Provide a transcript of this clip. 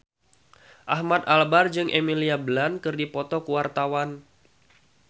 Ahmad Albar jeung Emily Blunt keur dipoto ku wartawan